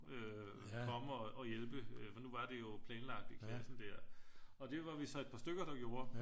Øh komme og hjælpe nu var det jo at planlagt i klassen der og det var vi så et par stykker der gjorde